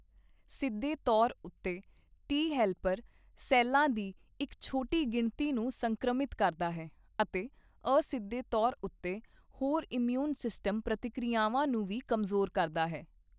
ਸਿੱਧੇ ਤੌਰ ਉੱਤੇ ਟੀ ਹੈਲਪਰ ਸੈੱਲਾਂ ਦੀ ਇੱਕ ਛੋਟੀ ਗਿਣਤੀ ਨੂੰ ਸੰਕ੍ਰਮਿਤ ਕਰਦਾ ਹੈ, ਅਤੇ ਅਸਿੱਧੇ ਤੌਰ ਉੱਤੇ ਹੋਰ ਇਮਿਊਨ ਸਿਸਟਮ ਪ੍ਰਤੀਕਿਰਿਆਵਾਂ ਨੂੰ ਵੀ ਕਮਜ਼ੋਰ ਕਰਦਾ ਹੈ।